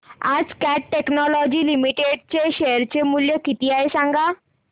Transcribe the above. आज Cat Technologies Limited चे share चे मूल्य किती आहे सांगा